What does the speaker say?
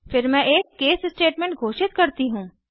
फिर मैं एक केस स्टेटमेंट घोषित करती हूँ